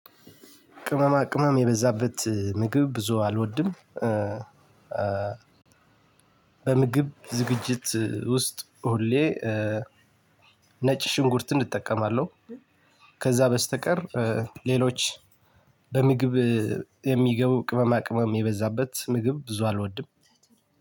ቅመማ ቅመም የበዛበት ምግብ ብዙ አልወድም። በምግብ ዝግጅት ውስጥ ሁሌ ነጭ ሽንኩርትን እጠቀማለሁ። ከዛ በስተቀር ሌሎች በምግብ የሚገቡ ቅመማ ቅመም የበዛበት ምግብ ብዙ አልወድም።